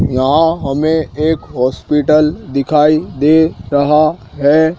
यहां हमें एक हॉस्पिटल दिखाई दे रहा है।